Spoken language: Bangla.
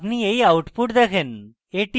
আপনি you output দেখেন